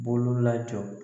Bolo lajɔ